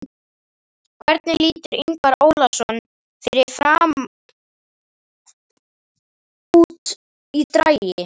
Hvernig lítur Ingvar Ólason fyrirliði FRAM út í dragi?